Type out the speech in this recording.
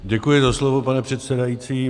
Děkuji za slovo, pane předsedající.